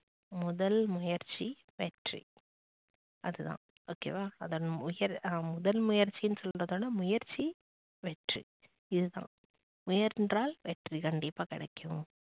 முதல் முயற்சி வெற்றி அதுதான் ok வா அதோட முதல் முயற்சின்னு சொல்றதோட முயற்சி வெற்றி இதுதான். முயன்றால் வெற்றி கண்டிப்பா கிடைக்கும்.